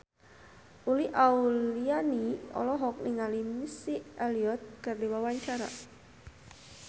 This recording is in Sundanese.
Uli Auliani olohok ningali Missy Elliott keur diwawancara